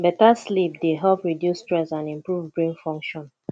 beta sleep dey help reduce stress and improve brain function